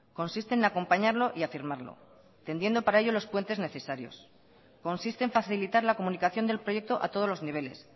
consiste en acompañarlo y afirmarlo tendiendo para ello los puentes necesarios consiste en facilitar la comunicación del proyecto a todos los niveles